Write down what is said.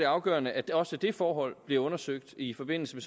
afgørende at også det forhold bliver undersøgt i forbindelse